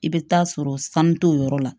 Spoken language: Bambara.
I bɛ taa sɔrɔ sanu t'o yɔrɔ la